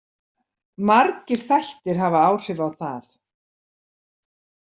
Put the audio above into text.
Margir þættir hafa áhrif á það.